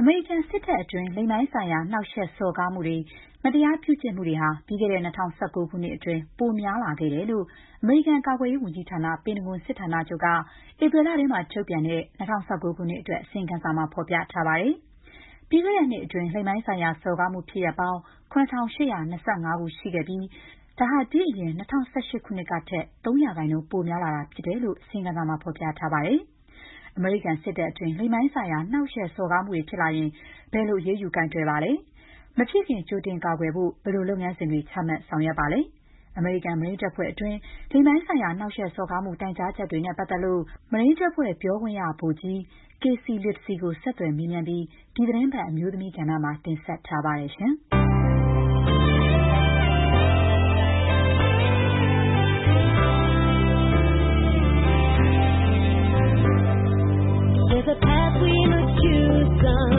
အမေရိကန်စစ်တပ်အတွင်း လိင်ပိုင်းဆိုင်ရာ နှောက်ယှက်စော်ကားမှုတွေ၊ မတရားပြုကျင့်မှုတွေဟာ ပြီးခဲ့တဲ့ ၂၀၁၉ ခုနှစ်အတွင်း ပိုများလာခဲ့တယ်လို့ အမေရိကန် ကာကွယ်ရေးဝန်ကြီးဌာန ပင်တဂွန်စစ်ဌာနချုပ်က ဧပြီလထဲထုတ်ပြန်တဲ့ ၂၀၁၉ ခုနှစ်အတွက် အစီရင်ခံစာမှာ ဖော်ပြထားပါတယ်။ ပြီးခဲ့တဲ့နှစ်အတွင်း လိင်ပိုင်းဆိုင်ရာ စော်ကားမှု ဖြစ်ရပ်ပေါင်း ၇,၈၂၅ ခုရှိခဲ့ပြီး ဒါဟာ ဒီ့အရင် ၂၀၁၈ ခုနှစ်ကထက် ၃ % ပို များလာတာဖြစ်တယ်လို့ အစီရင်ခံစာမှာ ဖော်ပြထားပါတယ်။ အမေရိကန်စစ်တပ်အတွင်း လိင်ပိုင်းဆိုင်ရာ နှောက်ယှက်စော်ကားမှုတွေ ဖြစ်လာရင် ဘယ်လို အရေးယူ ကိုင်တွယ်ပါလဲ။ မဖြစ်ခင် ကြိုတင်ကာကွယ်ဖို့ ဘယ်လိုလုပ်ငန်းစဉ်တွေ ချမှတ်ဆောင်ရွက်ပါလဲ။ အမေရိကန် မရိန်းတပ်ဖွဲ့အတွင်း လိင်ပိုင်းဆိုင်ရာ နှောက်ယှက်စော်ကားမှု တိုင်ကြားချက်တွေနဲ့ ပတ်သက်လို့ မရိန်းတပ်ဖွဲ့ ပြောခွင့်ရ ဗိုလ်ကြီး Casey Littesy ကို ဆက်သွယ်မေးမြန်းပြီး ဒီသီတင်းပတ် အမျိုးသမီးကဏ္ဍမှာ မခင်ဖြူထွေးက တင်ဆက်ထားပါတယ်။ “ကျမအနေနဲ့ စစ်တပ် တခု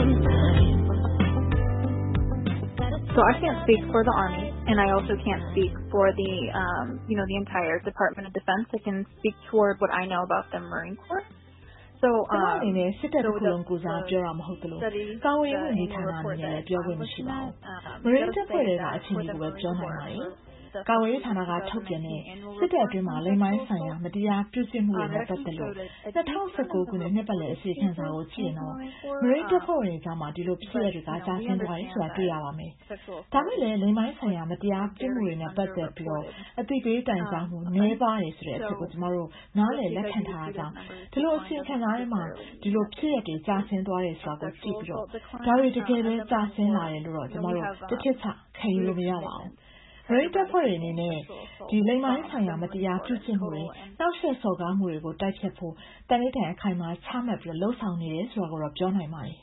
လုံးကိုယ်စား ပြောတာမဟုတ်သလို၊ ကာကွယ်ရေး ဝန်ကြီးဌာန အနေနဲ့လည်း ပြောခွင့်မရှိပါဘူး။ မရိန်းတပ်ဖွဲ့ထဲက အခြေအနေကိုပဲ ပြောနိုင်ပါတယ်။ ကာကွယ်ရေးဌာနကထုတ်ပြန်တဲ့ စစ်တပ်အတွင်း လိင်ပိုင်းဆိုင်ရာ မတရားပြုကျင့်မှုတွေနဲ့ပတ်သက်လို့ ၂၀၁၉ ခုနှစ် နှစ်ပတ်လည် အစီရင်ခံစာကိုကြည့်ရင်တော့ မရိန်းတပ်ဖွဲ့ဝင်တွေကြား ဒီလိုဖြစ်ရပ်တွေက ကျဆင်းသွားတာကို တွေ့ရပါလိမ့်မယ်။ ဒါပေမဲ့လည်း လိင်ပိုင်းဆိုင်ရာ မတရားပြုမှုတွေနဲ့ပတ်သက်လာရင် အသိပေးတိုင်ကြားမှုတွေ နည်းပါးတယ်ဆိုတဲ့အချက်ကို ကျမတို့ နားလည် လက်ခံထားတာကြောင့် အစီရင်ခံစာထဲမှာ ဒီလိုဖြစ်ရပ်တွေ ကျဆင်းသွားတယ်ဆိုတာကို ကြည့်ပြီး ဒါတွေ တကယ်ပဲ ကျဆင်းလာတာလို့တော့ ကျမတို့ တထစ်ချ ခံယူလို့မရပါဘူး။ မရိန်းတပ်ဖွဲ့အနေနဲ့ လိင်ပိုင်းဆိုင်ရာ မတရားပြုကျင့်မှုတွေ၊ နှောက်ယှက်စော်ကားမှုတွေကို တိုက်ဖျက်ဖို့ သန္နိဌာန် အခိုင်အမာ ချမှတ် လုပ်ဆောင်နေတယ် ဆိုတာကိုတော့ ပြောနိုင်ပါတယ်။"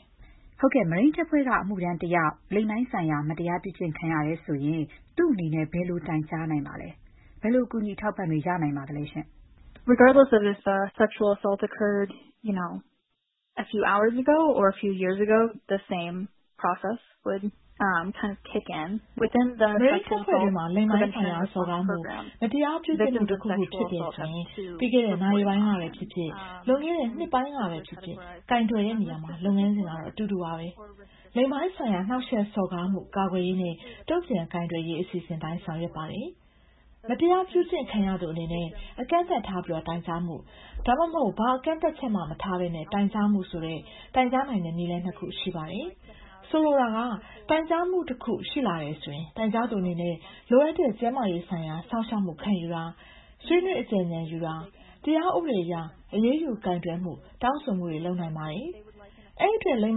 မရိန်းတပ်ဖွဲ့က အမှုထမ်းတယောက် လိင်ပိုင်းဆိုင်ရာ မတရားပြုကျင့် ခံရတယ်ဆိုရင် သူ့အနေနဲ့ ဘယ်လို တိုင်ကြားနိုင်ပါလဲ။ ဘယ်လို အကူအညီ အထောက်အပံ့တွေ ရနိုင်ပါသလဲ။ “မရိန်းတပ်ဖွဲ့တွင်းမှာ လိင်ပိုင်းဆိုင်ရာ စော်ကားမှု၊ မတရားပြုကျင့်မှု တခုခုဖြစ်တယ်ဆိုရင် ပြီးခဲ့တဲ့ နာရီပိုင်းကပဲဖြစ်ဖြစ်၊ လွန်ခဲ့တဲ့ နှစ်ပိုင်းကပဲဖြစ်ဖြစ် ကိုင်တွယ်တဲ့နေရာမှာ လုပ်ငန်းစဉ်ကတော့ အတူတူပါပဲ။ လိင်ပိုင်းဆိုင်ရာ နှောက်ယှက်စော်ကားမှု ကာကွယ်ရေးနဲ့ တုံ့ပြန်ကိုင်တွယ်ရေး အစီအစဉ်အတိုင်း ဆောင်ရွက်ပါတယ်။ မတရားပြုကျင့်ခံရသူအနေနဲ့ အကန့်အသတ်ထား တိုင်ကြားမှု၊ ဒါမှမဟုတ် ဘာကန့်သတ်ချက်မှမထားဘဲ တိုင်ကြားမှုဆိုတဲ့ တိုင်ကြားနိုင်တဲ့ နည်းလမ်းနှစ်မျိုး ရှိပါတယ်။ ဆိုလိုတာကတော့ တိုင်ကြားမှုတခု ရှိလာတယ်ဆိုရင် တိုင်ကြားသူအနေနဲ့ လိုအပ်တဲ့ ကျန်းမာရေးဆိုင်ရာ စောင့်ရှောက်မှု ခံယူတာ၊ ဆွေးနွေး အကြံဉာဏ် ရယူတာ၊ တရားဥပဒေအရ အရေးယူကိုင်တွယ်မှု တောင်းဆိုတာတွေ လုပ်နိုင်ပါတယ်။ အဲ့ဒီအတွက် လိင်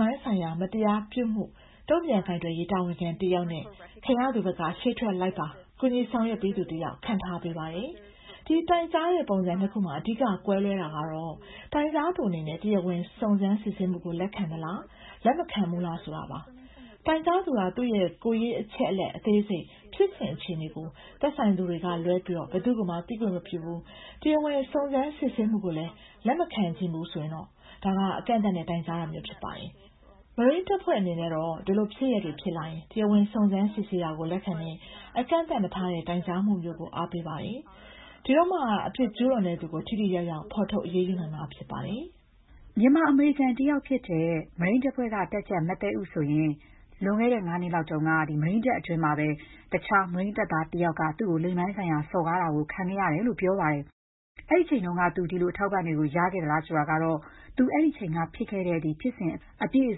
ပိုင်းဆိုင်ရာ မတရားပြုမှု တုံ့ပြန်ကိုင်တွယ်ရေး တာဝန်ခံတယောက်နဲ့ ခံရသူဘက်ကနေ ရှေ့ထွက်လိုက်ပါ ကူညီဆောင်ရွက်ပေးသူ တယောက် ခန့်ထားပေးပါတယ်။ ဒီတိုင်ကြားမှု ပုံစံနှစ်ခုမှာ အဓိက ကွဲလွဲတာကတော့ တိုင်ကြားသူ အနေနဲ့ တရားဝင် စုံစမ်းစစ်ဆေးမှုကို လက်ခံသလား။ လက်မခံဘူးလားဆိုတာပါပဲ။ တိုင်ကြားသူက သူ့ရဲ့ ကိုယ်ရေးအချက်အလက် အသေးစိတ်၊ ဖြစ်စဉ်အခြေအနေတွေကို သက်ဆိုင်သူတွေကလွဲပြီး ဘယ်သူ့ကိုမှ သိခွင့်မပြုဘူး၊ တရားဝင် စုံစမ်းစစ်ဆေးမှုကို လက်မခံချင်ဘူး ဆိုရင်တော့ ဒါက အကန့်အသတ်နဲ့ တိုင်ကြားတာမျိုး ဖြစ်ပါတယ်။ မရိန်းတပ်ဖွဲ့ အနေနဲ့ကတော့ ဒီလိုဖြစ်ရပ်တွေ ဖြစ်လာရင် တရားဝင် စုံစမ်းစစ်ဆေးတာကို လက်ခံတဲ့ အကန့်အသတ်မထားတဲ့ တိုင်ကြားမှုမျိုးကို အားပေးပါတယ်။ ဒါမှသာ အပြစ်ကျူးလွန်သူကို ထိထိရောက်ရောက် ဖော်ထုတ် အရေးယူနိုင်မှာဖြစ်ပါတယ်။” မြန်မာ-အမေရိကန်တယောက်ဖြစ်တဲ့ မရိန်းတပ်ဖွဲ့က တပ်ကြပ် မသဲဥ ဆိုရင် လွန်ခဲ့တဲ့ ၅ နှစ်လောက်က မရိန်းတပ်တွင်းမှာပဲ တခြားမရိန်းတပ်သားတယောက်က လိင်ပိုင်းဆိုင်ရာ စော်ကားတာကို ခံခဲ့ရတယ်လို့ ပြောပါတယ်။ အဲ့ဒီအချိန်တုန်းက သူ ဒီလို အထောက်အပံ့တွေ ရခဲ့သလားဆိုတာတော့ သူ့ရဲ့အမှုဖြစ်စဉ် အပြည့်အ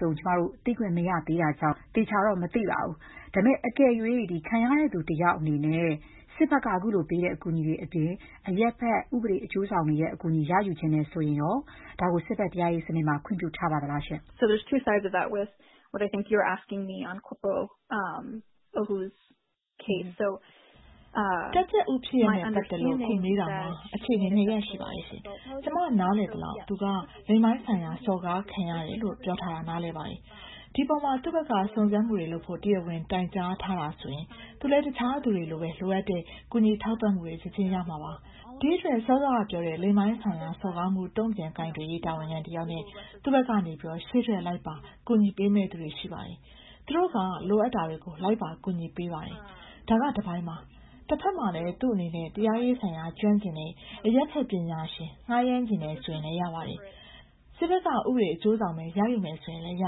စုံ သိခွင့်မရသေးတာကြောင့် ကျမတို့ သေချာ မသိရသေးပါဘူး။ အကယ်၍ ခံရသူတယောက်အနေနဲ့ စစ်ဘက် အကူအညီအပြင် အရပ်ဘက် ဥပဒေအကျိုးဆောင်တွေရဲ့ အကူအညီ ရယူချင်တယ်ဆိုရင်ရော ဒါကို စစ်ဘက်တရားရေးစနစ်မှာ ခွင့်ပြုထားပါသလား။ “တပ်ကြပ် ဥ ဖြစ်ရပ်နဲ့ပတ်သက်လို့ အခု မေးတာမှာ အခြေအနေ နှစ်ရပ်ရှိပါတယ်။ ကျမ နားလည်သလောက် သူဟာ လိင်ပိုင်းဆိုင်ရာ စော်ကားခံရတယ်လို့ ပြောထားတာ နားလည်ပါတယ်။ ဒီအပေါ်မှာ သူ့ဘက်က စုံစမ်းမှုတွေလုပ်ဖို့ တရားဝင် တိုင်ကြားထားတယ်ဆိုရင် သူလည်း တခြားလူတွေလိုပဲ လိုအပ်တဲ့ ကူညီထောက်ပံ့မှုတွေ ချက်ချင်း ရ ရမှာပါ။ ဒီအတွက် စောစောကပြောတဲ့ လိင်ပိုင်းဆိုင်ရာ စော်ကားမှု တုံ့ပြန်ကိုင်တွယ်ရေး တာဝန်ခံတယောက်နဲ့ သူ့ဘက်ကနေ ရှေ့ထွက် လိုက်ပါ ကူညီပေးမယ့်သူတွေ ရှိပါတယ်။ သူတို့က လိုအပ်တာတွေကို လိုက်ပါကူညီပေးပါတယ်။ ဒါက တပိုင်းပါ။ တဘက်မှာလည်း သူ့အနေနဲ့ တရားရေးဆိုင်ရာ ကျွမ်းကျင်တဲ့ အရပ်ဘက် ပညာရှင် ငှားရမ်းချင်တယ် ဆိုရင်လည်း ရပါတယ်။ စစ်ဘက်က ဥပဒေအကျိုးဆောင်ပဲ ရယူမယ်ဆိုရင်လည်း ရ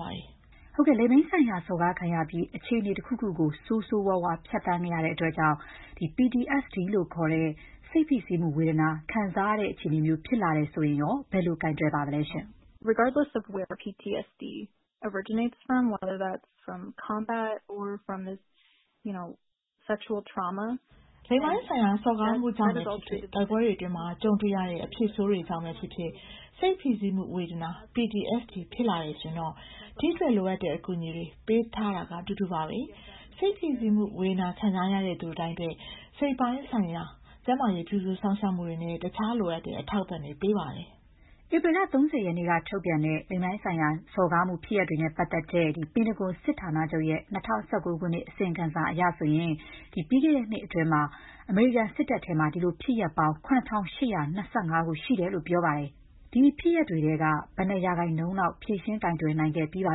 ပါတယ်။” လိင်ပိုင်းဆိုင်ရာစော်ကားခံရပြီး အခြေအနေတခုကို ဆိုးဆိုးရွားရွား ဖြတ်သန်းခဲ့ရတဲ့အတွက် PTSD လို့ခေါ်တဲ့ စိတ်ဖိစီးမှုဝေဒနာ ခံစားရတဲ့ အခြေအနေမျိုး ဖြစ်လာရင်ရော ဘယ်လိုကိုင်တွယ်ပါသလဲ။ “လိင်ပိုင်းဆိုင်ရာ စော်ကားမှုကြောင့်ပဲဖြစ်ဖြစ်၊ တိုက်ပွဲတွေအတွင်း ကြုံတွေ့ရတဲ့ အဖြစ်ဆိုးတွေကြောင့်ပဲဖြစ်ဖြစ် စိတ်ဖိစီးမှုဝေဒနာ PTSD ဖြစ်လာတယ်ဆိုရင်တော့ ဒီအတွက် လိုအပ်တဲ့အကူအညီတွေ ပေးတာကတော့ အတူတူပါပဲ။ စိတ်ဖိစီးမှုဝေဒနာ ခံစားရတဲ့သူတိုင်းအတွက် စိတ်ပိုင်းဆိုင်ရာ ကျန်းမာရေး ပြုစုစောင့်ရှောက်မှုတွေနဲ့ တခြားလိုအပ်တဲ့ အထောက်အပံ့ေ့တွ ပေးပါတယ်။” ဧပြီလ ၃၀ ရက်နေ့က ထုတ်ပြန်တဲ့ လိင်ပိုင်းဆိုင်ရာ စော်ကားမှုဖြစ်ရပ်တွေနဲ့ပတ်သက်တဲ့ ပင်တဂွန်စစ်ဌာနချုပ်ရဲ့ ၂၀၁၉ ခုနှစ် အစီရင်ခံစာအရဆိုရင် ပြီးခဲ့တဲ့နှစ်အတွင်း အမေရိကန်စစ်တပ်မှာ ဒီလိုဖြစ်ရပ်ပေါင်း ၇,၈၂၅ ခု ရှိခဲ့တယ်လိုပြောပါတယ်။ ဒီဖြစ်ရပ်တွေထဲက ဘယ်နှစ်ရာခိုင်နှုန်းလောက် ဖြေရှင်းကိုင်တွယ်နိုင်ခဲ့ပြီးပါ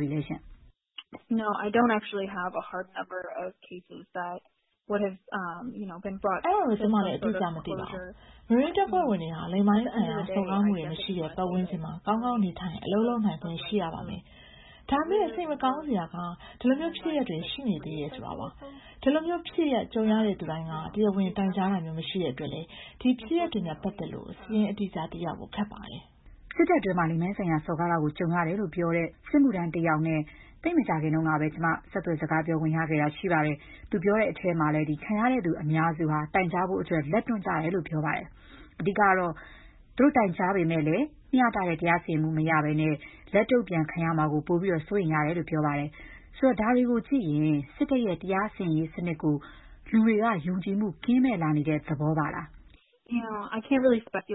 ပြီလဲ။ “အဲ့ဒါတော့ ကျမ အတိအကျ မသိပါဘူး။ မရိန်းတပ်ဖွဲ့ဝင်တိုင်းဟာ လိင်ပိုင်းဆိုင်ရာ စော်ကားမှုတွေ မရှိတဲ့ ပတ်ဝန်းကျင်မှာ ကောင်းကောင်း နေထိုင် အလုပ် လုပ်နိုင်ခွင့် ရှိရပါမယ်။ ဒါပေမဲ့ စိတ်မကောင်းစရာကတော့ ဒီလို ဖြစ်ရပ်တွေ ရှိနေသေးတာပါ။ ဒီလိုဖြစ်ရပ်ကြုံရသူတိုင်းက တရားဝင် တိုင်ကြားတမျိုး မရှိတဲ့ အတွက်လည်း ဒီဖြစ်ရပ်တွေနဲ့ပတ်သက်လို့ စာရင်းအတိအကျ သိရဖို့ခက်ပါတယ်။” စစ်တပ်အတွင်းမှာ လိင်ပိုင်းဆိုင်ရာစော်ကားခံရတာကြုံရတယ်လို့ ပြောတဲ့ စစ်မှုထမ်းတယောက်နဲ့ သိပ်မကြာခင်တုန်းကပဲ ကျမ ဆက်သွယ် စကားပြောခွင့်ရခဲ့တာ ရှိပါတယ်။ သူပြောတဲ့အထဲမှာ ခံရသူအများစုဟာ တိုင်ကြားဖို့ လက်တွန့်ကြတယ်ပြောပါတယ်။ အဓိက ကတော့ သူတို့တိုင်ကြားပေမဲ့ မ ျှတတဲ့ တရားစီရင်မှု မရဘဲ လက်တုံ့ပြန်ခံရမှာကို ပိုပြီးတော့ စိုးရိမ်ရတယ်လို့ ပြောပါတယ်။ ဆိုတော့ ဒါတွေကိုကြည့်ရင် စစ်တပ်ရဲ့တရားစီရင်ရေးစနစ်ကို လူတွေက ယုံကြည်မှုကင်းမဲ့လာတဲ့ သဘောပါလား။ “သူတို့ ဘာကြ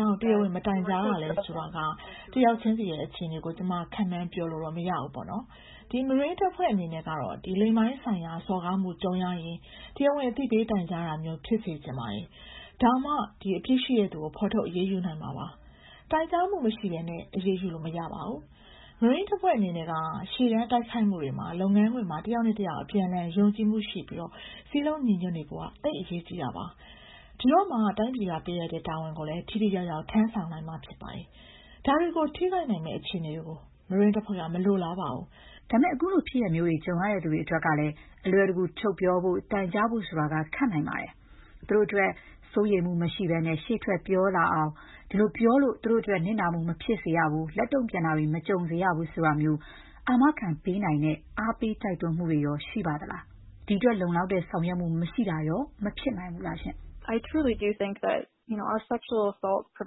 ောင့် တရားဝင် မတိုင်ကြားတာလဲ ဆိုတာ တယောက်ချင်းစီရဲ့ အခြေအနေကို ကျမ ခန့်မှန်းပြောလို့ မရပါဘူး။ မရိန်းတပ်ဖွဲ့အနေနဲ့ကတော့ လိင်ပိုင်းဆိုင်ရာစော်ကားမှု ကြုံရရင် တရားဝင် အသိပေးတိုင်ကြားတာမျိုး ဖြစ်စေချင်ပါတယ်။ ဒါမှသာ အပြစ်ရှိသူကို ဖော်ထုတ် အရေးယူနိုင်မှာပါ။ တိုင်ကြားမှုမရှိဘဲ အရေးယူလို့မရပါဘူး။ မရိန်းတပ်ဖွဲ့အနေနဲ့ကတော့ ရှေ့တန်း တိုက်ခိုက်မှုတွေမှာ၊ လုပ်ငန်းခွင်မှာ တယောက်နဲ့တယောက် အပြန်အလှန် ယုံကြည်မှုရှိပြီး စည်းလုံးညီညွတ်နေဖို့ သိပ်အရေးကြီးပါတယ်။ ဒါမှသာ တိုင်းပြည်ကပေးအပ်တဲ့ တာဝန်ကို ထိထိရောက်ရောက် ထမ်းဆောင်နိုင်မှာဖြစ်ပါတယ်။ ဒါတွေကို ထိခိုက်နိုင်မယ့် အခြေအနေကို မရိန်းတပ်ဖွဲ့က မလိုလားပါဘူး။” ဒါပေမဲ့ ဒီလိုဖြစ်ရပ်မျိုးတွေ ကြုံရတဲ့သူအတွက်ကလည်း အလွယ်တကူ ထုတ်ပြောဖို့၊ တိုင်ကြားဖို့ဆိုတာ ခက်နိုင်ပါတယ်။ သူတို့တွေအတွက် စိုးရိမ်မှုမရှိ ရှေ့ထွက်ပြောရဲလာအောင် အဲ့ဒီလိုပြောလို့ သူတို့အတွက် နစ်နာမှုမဖြစ်စေရပါဘူး၊ လက်တုံ့ပြန်မှုတွေ မကြုံစေရဘူး ဆိုတာမျိုး အာမခံပေးနိုင်ပေးတဲ့ အားပေးတိုက်တွန်းမှုတွေရော ရှိပါသလား။ ဒီအတွက် လုံလောက်တဲ့ ဆောင်ရွက်မှုတွေ မရှိတာရော မဖြစ်နိုင်ဘူးလားရှင့်။ “ကျမတို့ရဲ့ လိင်ပိုင်းဆိုင်ရာ နှောက်ယှက်စော်က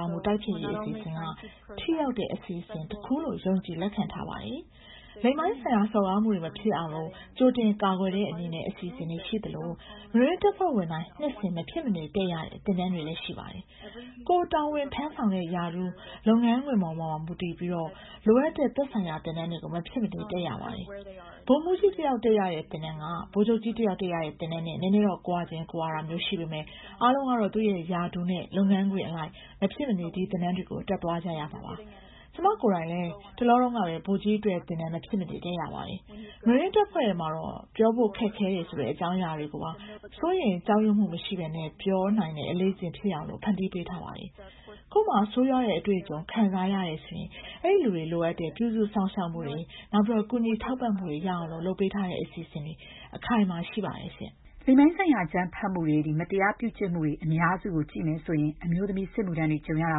ားမှု တိုက်ဖျက်ရေး အစီအစဉ်က ထိရောက်တဲ့အစီအစဉ်တခုလို့ ယုံကြည်လက်ခံထားပါတယ်။ လိင်ပိုင်းဆိုင်ရာ စော်ကားမှုတွေ မဖြစ်ရအောင် ကြိုတင် ကာကွယ်တဲ့ အစီအစဉ်တွေ ရှိသလို၊ မရိန်းတပ်ဖွဲ့ဝင်တိုင်း နှစ်စဉ် မဖြစ်မနေ တက်ရတဲ့ သင်တန်းတွေ ရှိပါတယ်။ ကိုယ်တာဝန်ထမ်းဆောင်တဲ့ ရာထူး၊ လုပ်ငန်းခွင်ပေါ် မူတည်ပြီး လိုအပ်တဲ့ သက်ဆိုင်ရာ သင်တန်းတွေကို မဖြစ်မနေ တက်ရပါတယ်။ ဗိုလ်မှူးကြီး တယောက် တက်ရတဲ့သင်တန်းနဲ့ ဗိုလ်ချုပ်ကြီးတယောက် တက်ရတဲ့သင်တန်း အနည်းငယ် ကွာတာ ရှိပေမဲ့ အားလုံးကတော့ သူ့ရာထူး လုပ်ငန်းခွင်အလိုက် မဖြစ်မနေ ဒီသင်တန်းတွေကို တက်သွားကြရမှာပါ။ ကျမ ကိုယ်တိုင်လည်း သိပ်မကြာခင်ကပဲ ဗိုလ်ကြီးတွေ အတွက် သင်တန်း မဖြစ်မနေ တက်ရပါတယ်။ မရိန်းတပ်ဖွဲ့ထဲမှာတော့ ပြောဖို့ခက်ခဲတယ်ဆိုတဲ့ အကြောင်းအရာတွေကိုပါ စိုးရိမ် ကြောက်ရွံ့မှု မရှိ ပြောနိုင်တဲ့ အလေ့အကျင့် ဖြစ်လာအောင် ဖန်တီးပေးပါတယ်။ ကိုယ့်မှာ ဆိုးရွားတဲ့ အတွေ့အကြုံတွေ ခံစားရတယ်ဆိုရင် အဲ့ဒီလူတွေ လိုအပ်တဲ့ ပြုစုစောင့်ရှောက်မှုတွေ၊ ကူညီထောက်ပံ့မှုတွေ ရရှိအောင် လုပ်ပေးတဲ့ အစီအစဉ်တွေ အခိုင်အမာရှိပါတယ်။” လိင်ပိုင်းဆိုင်ရာ အကြမ်းဖက်မှုတွေ၊ မတရားပြုကျင့်မှုတွေ အများစုကိုကြည့်ရင် အမျိုးသမီးစစ်မှုထမ်းတွေ ကြုံရတာ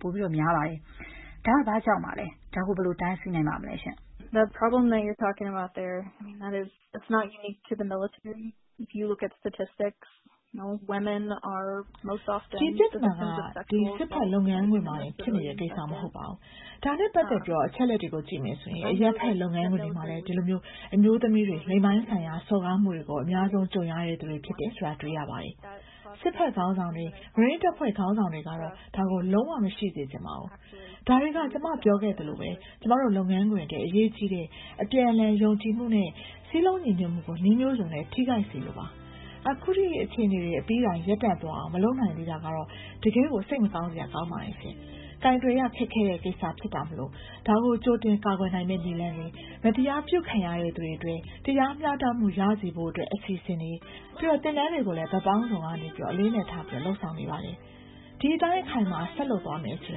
ပိုများပါတယ်။ အဲ့ဒါ ဘာကြောင့်ပါလဲ။ ဒါကို ဘယ်လို တားဆီးနိုင်ပါမလဲရှင့်။ “ဒီပြဿနာ ကတော့ စစ်ဘက်လုပ်ငန်းခွင်တွေမှာတင် ဖြစ်နေတဲ့ကိစ္စ မဟုတ်ပါဘူး။ ဒါနဲ့ပတ်သက်တဲ့ အချက်အလက်တွေကို ကြည့်ရင် အရပ်ဘက် လုပ်ငန်းခွင်တွေမှာလည်း အမျိုးသမီးတွေဟာ လိင်ပိုင်းဆိုင်ရာ စော်ကားမှုတွေကို အများဆုံးကြုံရသူတွေ ဖြစ်ပါတယ်။ စစ်ဘက်ခေါင်းဆောင်တွေ၊ မရိန်းတပ်ဖွဲ့ခေါင်းဆောင်တွေ ကတော့ ဒါကို လုံး၀ မရှိစေချင်ပါဘူး။ ဒါတွေက ကျမပြောခဲ့သလိုပဲ ကျမတို့လုပ်ငန်းခွင်အတွက် အရေးကြီးတဲ့ အပြန်အလှန် ယုံကြည်မှုနဲ့ စည်းလုံးညီညွတ်မှုကို နည်းမျိုးစုံနဲ့ ထိခိုက်စေလို့ပါပဲ။ ခုထိ ဒီအခြေအနေတွေ အပြီးတိုင် ရပ်တန့်သွားအောင် မလုပ်နိုင်သေးတာကတော့ တကယ့်ကို စိတ်မကောင်းစရာပါ။ ကိုင်တွယ်ရခက်ခဲတဲ့ ကိစ္စဖြစ်တာမို့လည်း ဒါကို ကြိုတင် ကာကွယ်နိုင်မယ့်နည်းလမ်းတွေ၊ မတရားပြုခံရသူအတွက် တရားမ ျှတမှု ရစေဖို့အတွက် အစီအစဉ်တွေ၊ သင်တန်းတွေကို ဘက်ပေါင်းစုံကနေ အလေးအနက်ထား လုပ်ဆောင်နေပါတယ်။ ဒီအတိုင်း အခိုင်အမာ ဆက်လုပ်သွားမယ်ဆိုရ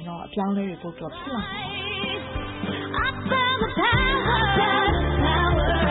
င် အပြောင်းအလဲတွေ ပိုပြီး ဖြစ်လာမှာ